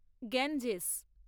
Ganges